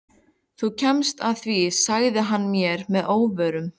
Þú kemst að því sagði hann mér að óvörum.